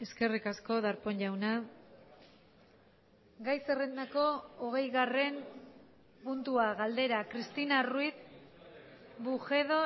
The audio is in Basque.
eskerrik asko darpón jauna gai zerrendako hogeigarren puntua galdera cristina ruiz bujedo